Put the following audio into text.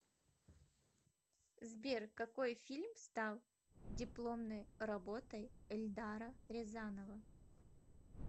сбер какой фильм стал дипломной работой эльдара рязанова